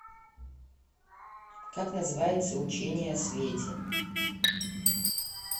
как называется учение о свете